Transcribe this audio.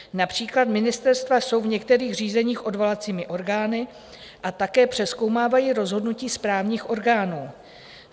Například ministerstva jsou v některých řízeních odvolacími orgány a také přezkoumávají rozhodnutí správních orgánů.